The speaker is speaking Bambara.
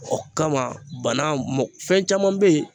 O kama bana fɛn caman bɛ yen.